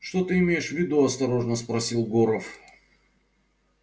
что ты имеешь в виду осторожно спросил горов